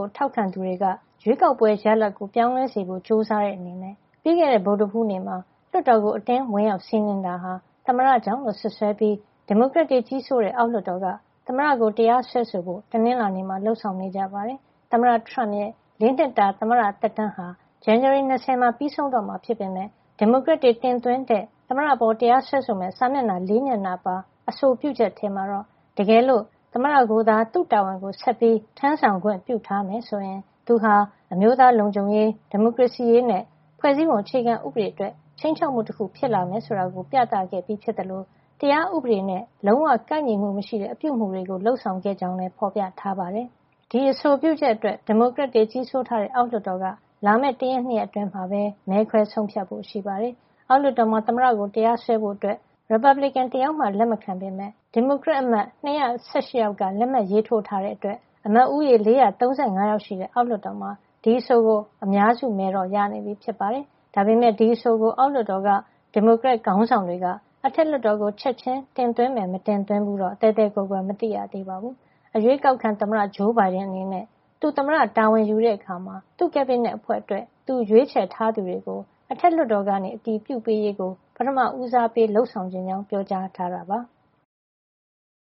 ို ထောက်ခံသူတွေက ရွေးကောက်ပွဲရလဒ်ကိုပြောင်းလဲစေဖို့ ကြိုးစားတဲ့အနေနဲ့ ပြီးခဲ့တဲ့ ဗုဒ္ဓဟူးနေ့မှာ လွှတ်တော်ကို အတင်းဝင်ရောက်စီးနင်းတာဟာ သမ္မတကြောင့်လို့ စွပ်စွဲပြီး ဒီမိုကရက်တွေ ကြီးစိုးတဲ့ အောက်လွှတ်တော်က သမ္မတကို တရားစွဲဆိုဖို့ တနင်္လာနေ့မှာ လုပ်ဆောင်နေကြပါတယ်။ သမ္မတထရမ့်ရဲ့ ၄ နှစ်တာ သမ္မတသက်တမ်းဟာ ဇန်နဝါရီလ ၂၀ မှာ ပြီးဆုံးတော့မှာ ဖြစ်ပေမယ့် ဒီမိုကရက်တွေ တင်သွင်းတဲ့ သမ္မတအပေါ်တရားစွဲဆိုမယ့် စာမျက်နှာ ၄ မျက်နှာပါ အဆိုပြုချက်ထဲမှာတော့ တကယ်လို့ သမ္မတကိုသာ သူ့တာဝန်ကို ဆက်ပြီး ထမ်းဆောင်ခွင့် ပြုထားမယ်ဆိုရင် သူဟာ အမျိုးသားလုံခြုံရေး၊ ဒီမိုကရေစီရေးနဲ့ ဖွဲ့စည်းပုံအခြေခံဥပဒေ အတွက် ခြိမ်းခြောက်မှုတခု ဖြစ်လာမယ်ဆိုတာကို ပြသခဲ့ပြီး ဖြစ်သလို တရားဥပဒေနဲ့ လုံးဝကိုက်ညီမှု မရှိတဲ့ အပြုအမူတွေလုပ်ဆောင်ခဲ့ကြောင်း ဖေါ်ပြထားပါတယ်။ ဒီအဆိုပြုချက်အတွက် ဒီမိုကရက်တွေ ကြီးစိုးထားတဲ့ အောက်လွှတ်တော်က လာမယ့် တရက် ၂ ရက် အတွင်း မဲခွဲဆုံးဖြတ်ဖို့ ရှိပါတယ်။ အောက်လွှတ်တော်မှာ သမ္မတကို တရားစွဲဖို့ ရီပတ်ဘလစ်ကင် တယောက်မှမပါပေမယ့် ဒီမိုကရက်အမတ် ၂၁၈ ယောက်က ဒီအဆိုကို လက်မှတ်ရေးထိုးထားတာကြောင့် အမတ်ဦးရေ ၄၃၅ ယောက် ရှိတဲ့ အောက်လွှတ်တော်မှာ ဒီအဆို အတွက် အများစုမဲကိုတော့ ရနေပြီ ဖြစ်ပါတယ်။ ဒါပေမယ့် ဒီအဆိုကို အောက်လွှတ်တော် ဒီမိုကရက်ခေါင်းဆောင်တွေက အထက်လွှတ်တော်ကို ချက်ချင်း တင်မယ် မတင်ဘူးဆိုတာတော့ သဲသဲကွဲကွဲမသိရသေးပါဘူး။ အရွေးကောက်ခံ သမ္မတ ဂျိုးဘိုင်ဒန်ကတော့ သူသမ္မတတာဝန်ယူတဲ့အခါ သူ့ကက်ဘိနက်အဖွဲ့အတွက် သူရွေးချယ်ထားသူတွေကို အထက်လွှတ်တော်က အတည်ပြုပေးရေးကို ပထမဦးစားပေး လုပ်ဆောင်ချင်ကြောင်း ပြောကြားထားတာပါ။